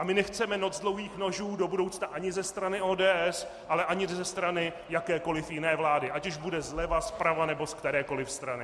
A my nechceme noc dlouhých nožů do budoucna ani ze strany ODS, ale ani ze strany jakékoli jiné vlády, ať už bude zleva, zprava, nebo z kterékoli strany.